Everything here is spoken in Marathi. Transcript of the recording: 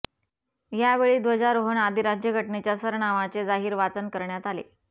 यावेळी ध्वजारोहण आधी राज्यघटनेच्या सरनामाचे जाहीर वाचन करण्यात आले